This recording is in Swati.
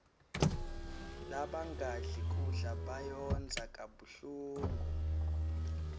labangadli kudla bayondza kabuhlungu